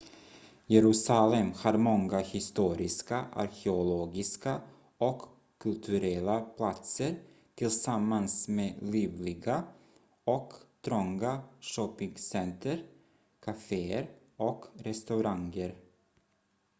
jerusalem har många historiska arkeologiska och kulturella platser tillsammans med livliga och trånga shoppingcenter caféer och restauranger